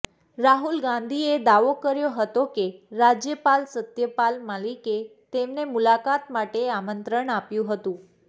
રાહુલ ગાંધીએ દાવો કર્યો હતો કે રાજ્યપાલ સત્યપાલ મલિકે તેમને મુલાકાત માટે આમંત્રણ આપ્યું હતું